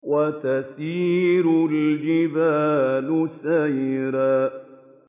وَتَسِيرُ الْجِبَالُ سَيْرًا